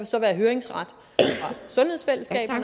så være høringsret